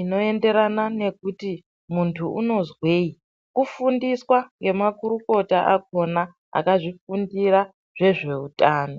inoenderana nekuti muntu unozwei kufundiswa nemakurukota akona akazvifundira zvezveutano.